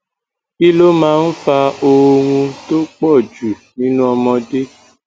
kí ló máa ń fa oorun tó po ju ninu omode